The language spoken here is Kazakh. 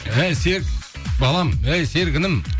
әй серік балам әй серік інім